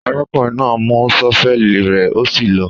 Àrákúnrìn nà mú sọfẹli rẹ, òsí lọ.